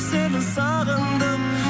сені сағындым